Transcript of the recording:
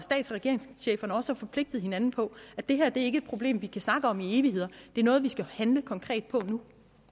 regeringscheferne også har forpligtet hinanden på at det her ikke problem vi kan snakke om i evigheder det er noget vi skal handle konkret på